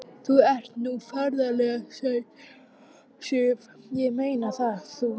Þú ert nú ferlega sæt, Sif. ég meina það. þú.